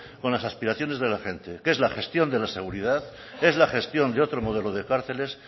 con las aspiraciones de la gente que es la gestión de la seguridad es la gestión de otro modelo de cárceles